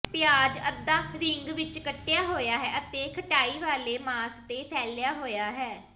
ਪਿਆਜ਼ ਅੱਧਾ ਰਿੰਗ ਵਿੱਚ ਕੱਟਿਆ ਹੋਇਆ ਹੈ ਅਤੇ ਖਟਾਈ ਵਾਲੇ ਮਾਸ ਤੇ ਫੈਲਿਆ ਹੋਇਆ ਹੈ